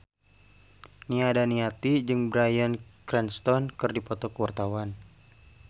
Nia Daniati jeung Bryan Cranston keur dipoto ku wartawan